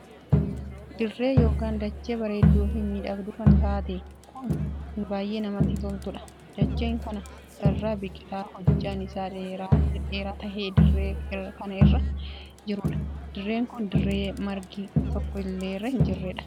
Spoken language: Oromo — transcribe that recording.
Dirree ykn dachee bareedduu fi miidhagduu kan taatee kun kan baay'ee namatti toltuudha. dacheen kana irra biqilaa hojjaan isaa dhedheeraa tahe dirree kan irraa jiruudha. dirreen kun dirree margi tokko illee irra hin jirreedha.